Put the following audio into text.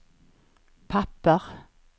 papper